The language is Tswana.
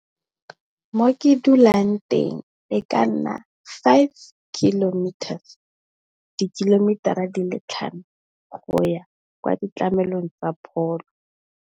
Mo ke dulang teng e ka nna five kilometers, dikilomitara di le tlhano go ya kwa ditlhamelong tsa pholo.